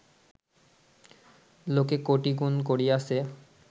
লোকে কোটি গুণ করিয়াছে